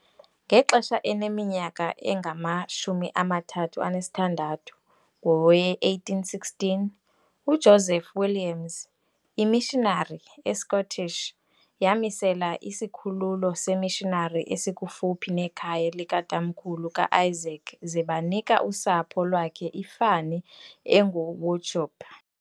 Ngexesha eneminyaka engama-36 ngowe-1816, uJoseph Williams, iMishinari eScottish yamisela isikhululo seeMissionari esikufuphi nekhaya likaTamkhulu ka-Isaac ze banika usapho lwakhe ifani enguWauchope.